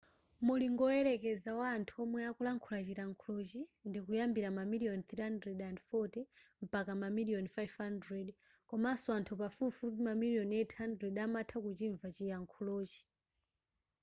mulingo woyerekeza wa anthu omwe akulankhula chilankhulochi chikuyambira mamiliyoni 340 mpaka mamiliyoni 500 komanso anthu pafupifupi mamiliyoni 800 amatha kuchimva chilankhulochi